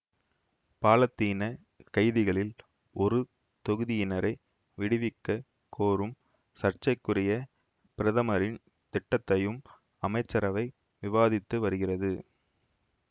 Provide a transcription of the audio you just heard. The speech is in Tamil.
பாலத்தீனக் கைதிகளில் ஒரு தொகுதியினரை விடுவிக்கக் கோரும் சர்ச்சைக்குரிய பிரதமரின் திட்டத்தையும் அமைச்சரவை விவாதித்து வருகிறது